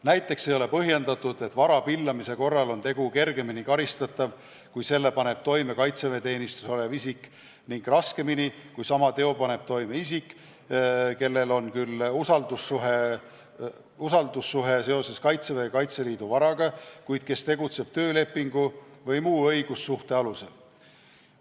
Näiteks ei ole põhjendatud, et vara pillamise korral on tegu kergemini karistatav kui selle paneb toime kaitseväeteenistuses olev isik, ning raskemini, kui sama teo paneb täide isik, kellel on küll usaldussuhe seoses Kaitseväe või Kaitseliidu varaga, kuid kes tegutseb töölepingu või muu õigussuhte alusel.